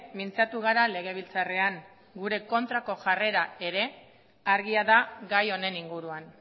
mintzatu gara legebiltzarrean gure kontrako jarrera ere argia da gai honen inguruan